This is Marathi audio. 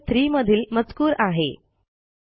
हा सॅम्पल3 मधील मजकूर आहे